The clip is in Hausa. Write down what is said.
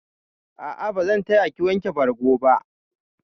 A'a, bazan taya ki wanke bargo ba.